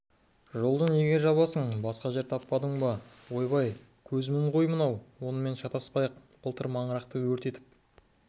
жолды неге жабасың басқа жер таппадың ба ойбай көзмін ғой анау онымен шатаспайық былтыр маңырақты өртетіп